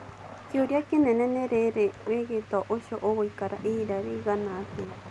Kĩũria kĩnene ni rĩrĩ wĩgito ũcio ũgũikara ihinda rĩigana atĩa.